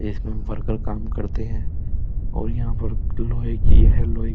इसमें वर्कर काम करते हैं और यहाँ पर लोहे की है लोई --